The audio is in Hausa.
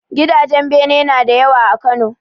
Gidajen bene nada yawa a Kano